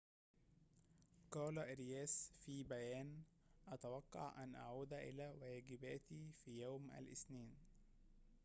قال أرياس في بيان أتوقع أن أعود إلى واجباتي في يوم الاثنين